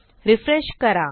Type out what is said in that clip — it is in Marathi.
रिफ्रेश करा